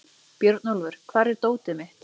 Björnólfur, hvar er dótið mitt?